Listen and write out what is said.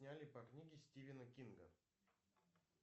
сняли по книге стивена кинга